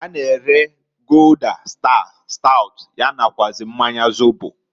Ha na-ere Gulder, Star, Stout, ya nakwuazi mmanya zobo.